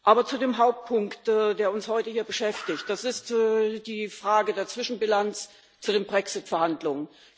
Aber zu dem Hauptpunkt, der uns heute hier beschäftigt Das ist die Frage der Zwischenbilanz der Brexit Verhandlungen.